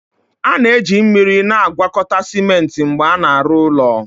A na-eji mmiri na-agwakọta simenti mgbe a na-arụ ụlọ